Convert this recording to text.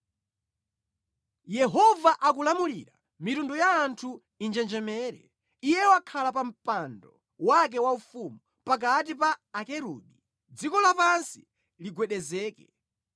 Yehova akulamulira, mitundu ya anthu injenjemere; Iye wakhala pa mpando wake waufumu, pakati pa akerubi, dziko lapansi ligwedezeke.